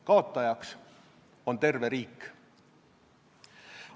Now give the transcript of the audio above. Kaotajaks on terve riik.